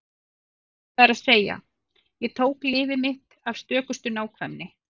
Það er að segja: Ég tók lyfið mitt af stökustu nákvæmni.